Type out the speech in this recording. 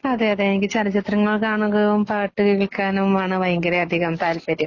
അതേയതേ എനിക്ക് ചലച്ചിത്രങ്ങൾ കാണുന്നതും പാട്ടുകേൾക്കാനും ആണ് ഭയങ്കര അധികം താല്പര്യം.